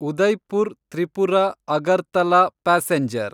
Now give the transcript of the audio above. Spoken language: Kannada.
ಉದಯ್‌ಪುರ್ ತ್ರಿಪುರ–ಅಗರ್ತಲಾ ಪ್ಯಾಸೆಂಜರ್